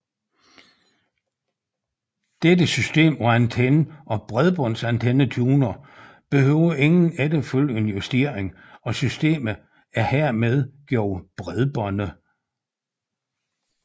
Dette system af antenne og bredbåndsantennetuner behøver ingen efterfølgende justering og systemet er hermed gjort bredbåndet